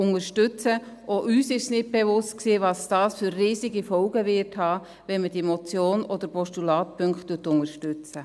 Auch uns war nicht bewusst, welche riesigen Folgen es haben wird, wenn man diese Motions- oder Postulatspunkte unterstützt.